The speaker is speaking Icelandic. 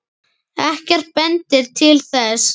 Ekkert bendir til þess.